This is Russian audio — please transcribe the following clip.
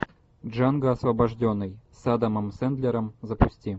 джанго освобожденный с адамом сэндлером запусти